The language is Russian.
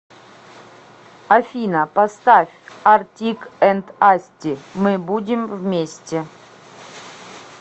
афина поставь артик энд асти мы будем вместе